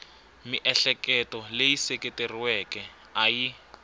miehleketo leyi seketeriweke a yi